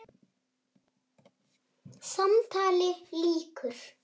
Samtali lýkur.